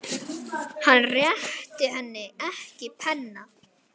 Hann réttir henni ekki penna.